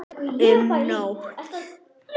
Um nótt